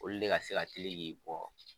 Olu de ka se ka tile k'i bɔ